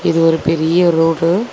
இது ஒரு பெரிய ரோடு .